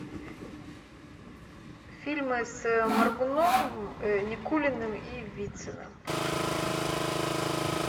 фильмы с моргуновым никулиным и вициным